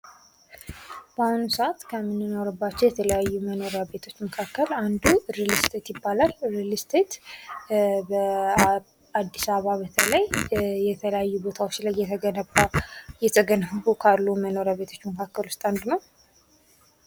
በአሁኑ ሰዓት ከሚንኖርባቸው የተለያዩ መኖሪያ ቤቶች መካከል አንዱ ሪል ስቴት ይባላል። ሪል ስቴት በአዲስ አበባ በተለይ የተለያየ ቦታዎች ላይ የተገነባ እየተገነቡ ካሉት መኖሪያ ቤቶች መካከል ውስጥ አንዱ ነው።